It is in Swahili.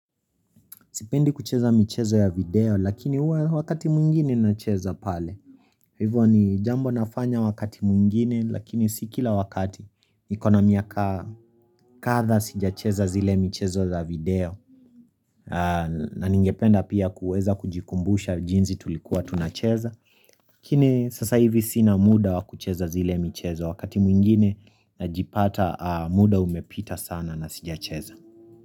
Sipendi kucheza michezo ya video lakini huwa wakati mwingine nacheza pale Hivyo ni jambo nafanya wakati mwingine lakini si kila wakati Nikona miaka kadhaa sijacheza zile michezo za video na ningependa pia kuweza kujikumbusha jinsi tulikuwa tunacheza lakini sasa hivi sina muda wa kucheza zile michezo wakati mwingine najipata muda umepita sana na sijacheza.